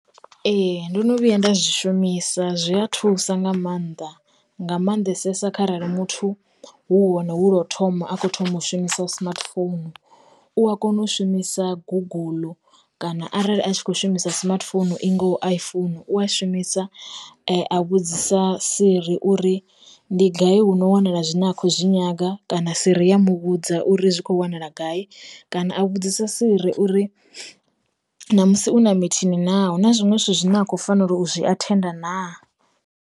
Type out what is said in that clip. Ee ndo no vhuya nda zwi shumisa zwi a thusa nga maanḓa nga maanḓesesa kharali muthu hu hone hu lwo u thoma a kho thoma u shumisa smartphone, u a kona u shumisa guguḽu, kana arali a tshi kho shumisa smartphone i ngaho a i founu u a shumisa a vhudzisa siri uri ndi gai hu no wanala zwine a khou zwi nyaga, kana siri ya muvhudza uri zwi kho wanala gai kana a vhudzisa Siri uri na musi u na mithini na, hu na zwiṅwe zwithu zwine a khou fanela u zwi athenda naa.